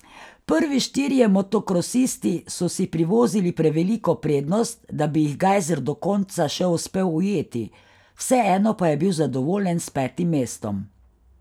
Prvi štirje motokrosisti so si privozili preveliko prednost, da bi jih Gajser do konca še uspel ujeti, vseeno pa je bil zadovoljen s petim mestom.